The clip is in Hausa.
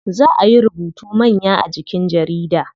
Zaa ayi rubutu manya a jikin jarida.